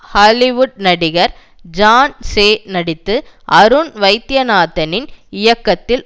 Hollywood நடிகர் John Shea நடித்து அருண் வைத்யநாதனின் இயக்கத்தில்